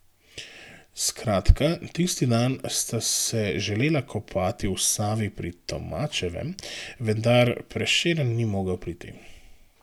Skratka, tisti dan sta se želela kopati v Savi pri Tomačevem, vendar Prešeren ni mogel priti.